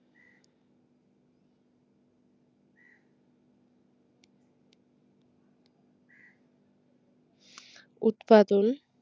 উৎপাদন